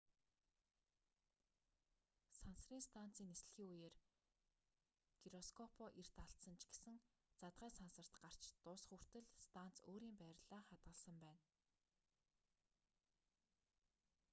сансрын станцын нислэгийн үеэр гироскопоо эрт алдсан ч гэсэн задгай сансарт гарч дуусах хүртэл станц өөрийн байрлалаа хадгалсан байна